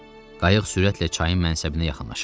Qayıq sürətlə çayın mənsəbinə yaxınlaşırdı.